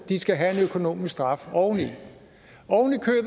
de skal have en økonomisk straf oveni det